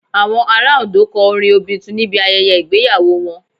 Àwọn ará Òndó kọ orin Obitun níbi ayẹyẹ ìgbéyàwó wọn